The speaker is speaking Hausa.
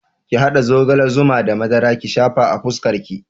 Ki haɗa zogala, zuma da madara ki shafa a fuskar ki